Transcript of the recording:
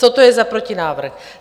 Co to je za protinávrh?